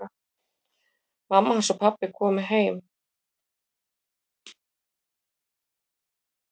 Mamma hans og pabbi komu heim.